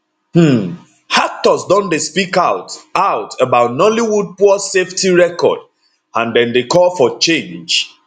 um actors don dey speak out out about nollywood poor safety record and dem dey call for change